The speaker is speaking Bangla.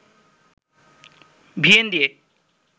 ভিয়েন দিয়ে